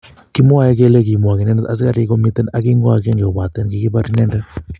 Kimwoe kele komwok indnet asigarik komiten ag ingo agenge kopaten kogipar inendet